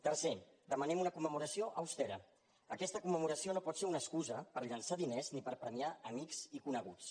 tercer demanem una commemoració austera aquesta commemoració no por ser una excusa per llençar diners ni per premiar amics i coneguts